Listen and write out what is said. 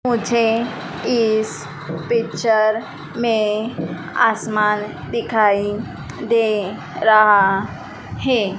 मुझे इस पिक्चर में आसमान दिखाई दे रहा है।